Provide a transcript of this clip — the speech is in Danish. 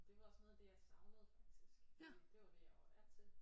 Det var også noget af det jeg savnede faktisk fordi det det var det jeg var vant til